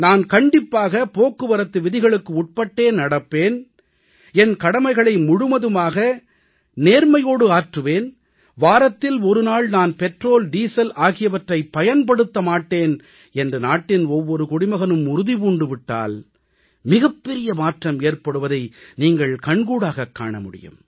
நான் கண்டிப்பாக போக்குவரத்து விதிகளுக்கு உட்பட்டே நடப்பேன் என் கடமைகளை முழுவதுமாக நேர்மையோடு ஆற்றுவேன் வாரத்தில் ஒருநாள் நான் பெட்ரோல்டீசல் ஆகியவற்றைப் பயன்படுத்த மாட்டேன் என்று நாட்டின் ஒவ்வொரு குடிமகனும் உறுதி பூண்டு விட்டால் மிகப் பெரிய மாற்றம் ஏற்படுவதை நீங்கள் கண்கூடாகவே காண முடியும்